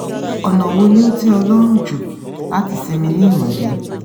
ọ̀nà wo ni o tẹ́ ọ lọ́rùn jù láti sinmi ní ìrọ̀lẹ́?